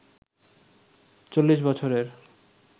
৪০ বছরের